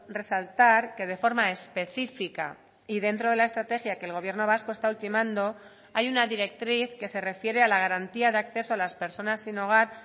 resaltar que de forma específica y dentro de la estrategia que el gobierno vasco está ultimando hay una directriz que se refiere a la garantía de acceso a las personas sin hogar